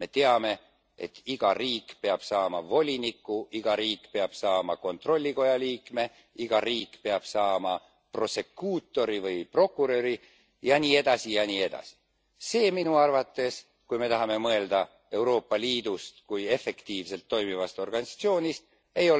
Me teame, et iga riik peab saama voliniku, iga riik peab saama kontrollikoja liikme, iga riik peab saama prosekuutori või prokuröri jne, jne. Minu arvates ei ole see, kui me tahame mõelda Euroopa Liidust kui efektiivselt toimivast organisatsioonist,